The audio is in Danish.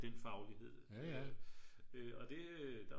Den faglighed øh og det